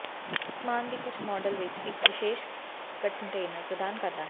ਸਾਮਾਨ ਦੀ ਕੁਝ ਮਾਡਲ ਵਿੱਚ ਇੱਕ ਵਿਸ਼ੇਸ਼ ਕੰਟੇਨਰ ਪ੍ਰਦਾਨ ਕਰਦਾ ਹੈ